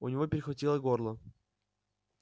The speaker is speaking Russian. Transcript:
у него перехватило горло